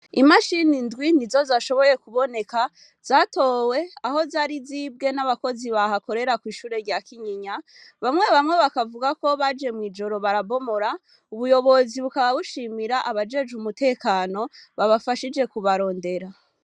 Imashini indwi nizo zashoboye kuboneka, zatowe aho zari zibwe n'abakozi bahakorera kw'ishure rya Kinyinya, bamwe bamwe bakavuga ko baje mw'ijoro barabomora. Ubuyobozi bukaba bushimira abajejwe umutekano babafashije kubarondera.